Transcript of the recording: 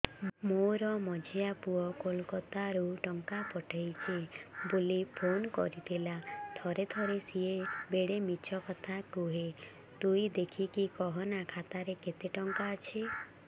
ମୋର ମଝିଆ ପୁଅ କୋଲକତା ରୁ ଟଙ୍କା ପଠେଇଚି ବୁଲି ଫୁନ କରିଥିଲା ଥରେ ଥରେ ସିଏ ବେଡେ ମିଛ କଥା କୁହେ ତୁଇ ଦେଖିକି କହନା ଖାତାରେ କେତ ଟଙ୍କା ଅଛି